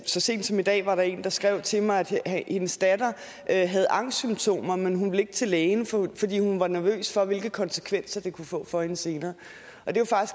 så sent som i dag var der en der skrev til mig at hendes datter havde angstsymptomer men hun ville ikke til lægen fordi hun var nervøs for hvilke konsekvenser det kunne få for hende senere